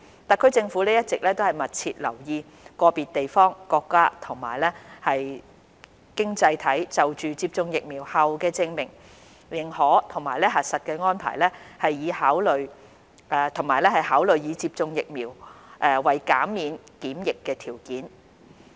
特區政府一直密切留意個別地方、國家及經濟體就接種疫苗後的證明、認可及核實安排，以及考慮以接種疫苗為減免檢疫的條件。